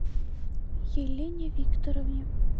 елене викторовне